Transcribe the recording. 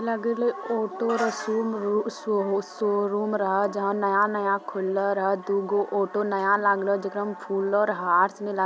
लगलो ऑटो रशूम शो-शोरूम रहा जहां नया-नया खुललो रहा दूगो ऑटो नया लागले जेकरा में फूल और हार सनी लाग --